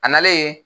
A nalen